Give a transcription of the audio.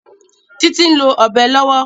Títí ń lo Ọ̀bẹ lọ́wọ́